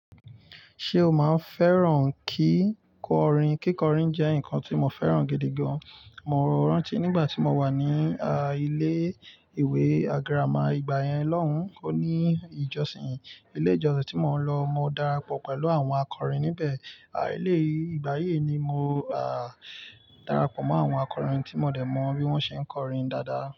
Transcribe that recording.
Ṣé o máa ń fẹ́ràn kíkọrin? Kíkọrin jẹ́ nǹkan tí mo fẹ́ràn gidi gan. Mo rántí nígbà tí mo wà ní ilé-ìwé àgíràma ìgbà yẹn lohun kò ní ìjọsìn. Ilé ìjọsìn tí mo lọ mo darapọ̀ pẹ̀lú àwọn akọrin níbẹ̀. Àí lé ìgbà yí ni mo á darapọ̀ mọ́ àwọn akọrin tí mo dẹ̀ mọ bí wọ́n ṣe ń kọrin dáadáa.